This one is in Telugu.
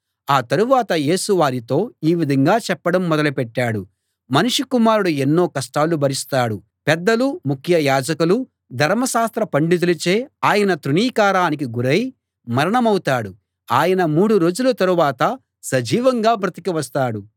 ఆ తరువాత యేసు వారితో ఈ విధంగా చెప్పడం మొదలుపెట్టాడు మనుష్య కుమారుడు ఎన్నో కష్టాలు భరిస్తాడు పెద్దలు ముఖ్య యాజకులు ధర్మశాస్త్ర పండితులచే ఆయన తృణీకారానికి గురై మరణమౌతాడు ఆయన మూడు రోజుల తరువాత సజీవంగా బ్రతికి వస్తాడు